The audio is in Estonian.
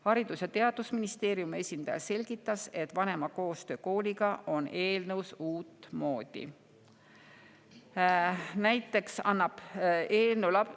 Haridus‑ ja Teadusministeeriumi esindaja selgitas, et vanema koostöö kooliga on eelnõus uut moodi.